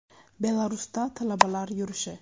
Belarusda talabalar yurishi.